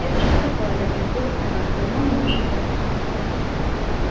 это что такое рассердилась она больному нужен отдых